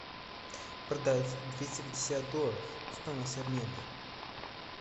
продать двести пятьдесят долларов стоимость обмена